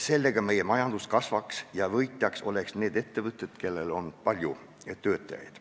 Sellega meie majandus kasvaks ja võidaksid need ettevõtted, kellel on palju töötajaid.